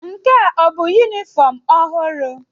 Nke a ọ bụ yunifọọm ọhụrụ?